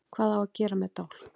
Hvað á að gera með dálk?